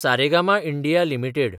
Saregama India limited